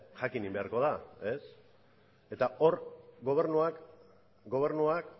jakin beharko da eta hor gobernuak